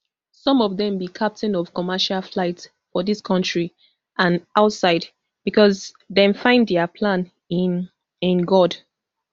some of dem be captain of commercial flights for dis kontri and outside becos dem find dia plan in in god